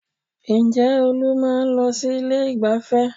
Ǹjẹ́ Olú máa ń lọ sí ilé ìgbáfẹ́?